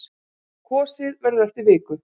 Kosið verður eftir viku.